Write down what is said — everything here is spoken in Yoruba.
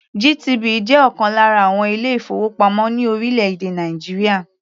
GTB jẹ́ ọ̀kan lára àwọn ilé-ìfowópamọ́ ní orílẹ̀-èdè Nàìjíríà.